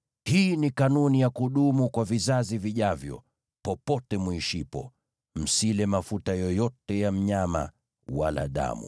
“ ‘Hii ni kanuni ya kudumu kwa vizazi vijavyo, popote muishipo: Msile mafuta yoyote ya mnyama wala damu.’ ”